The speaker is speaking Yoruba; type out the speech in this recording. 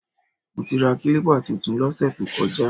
Mo ti ra kílípà tuntun lọ́sẹ̀ tó kọjá